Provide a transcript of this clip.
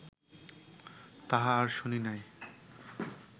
তাহা আর শুনি নাই